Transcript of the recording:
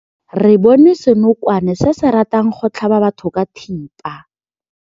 Re bone senokwane se se ratang go tlhaba batho ka thipa.